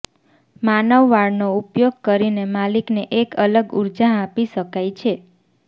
માનવ વાળનો ઉપયોગ કરીને માલિકને એક અલગ ઊર્જા આપી શકાય છે